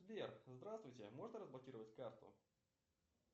сбер здравствуйте можно разблокировать карту